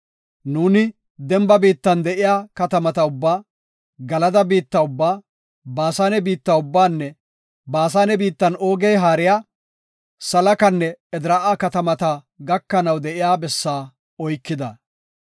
Nuuni demba biittan de7iya katamata ubbaa, Galada biitta ubbaa, Baasane biitta ubbaanne Baasane biittan Oogey haariya Salakanne Edraa7a katamata gakanaw de7iya bessaa oykida.